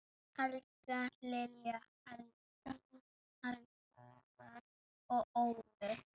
Helga, Lilja, Garðar og Ólöf.